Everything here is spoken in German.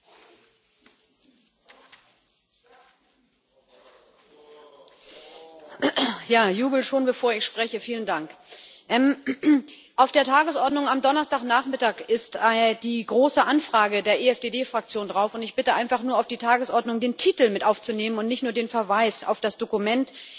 Herr Präsident! Jubel schon bevor ich spreche, vielen Dank! Auf der Tagesordnung am Donnerstagnachmittag ist die große Anfrage der EFDD Fraktion drauf, und ich bitte einfach nur, auf die Tagesordnung den Titel mit aufzunehmen und nicht nur den Verweis auf das Dokument.